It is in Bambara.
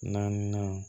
Naaninan